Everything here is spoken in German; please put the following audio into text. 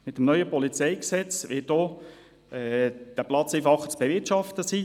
Mit dem neuen PolG wird der Platz auch einfacher zu bewirtschaften sein;